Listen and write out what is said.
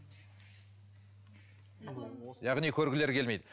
яғни көргілері келмейді